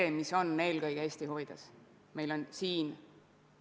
Kuid meil pole kunagi olnud Riigikogus sellist koalitsiooni ega ole olnud ka sellist opositsiooni.